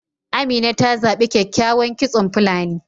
Amina ta zabi kyakykyawan kitson fulani